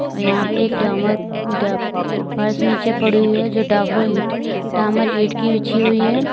और यहां पे एक डामर डा फर्श नीचे पड़ी हुई है जो डाबरो इट डामर ईट की बिछी हुई है।